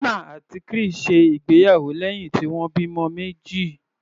Hannah àti Chris ṣe ìgbéyàwó lẹ́hìn tí wọ́n bímọ meji.